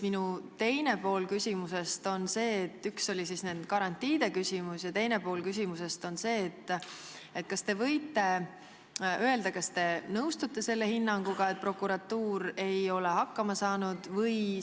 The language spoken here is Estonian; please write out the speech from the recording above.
Teine pool küsimusest on aga selline: kas te nõustuste hinnanguga, et prokuratuur ei ole hakkama saanud?